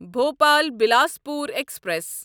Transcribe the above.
Bhopal Bilaspur express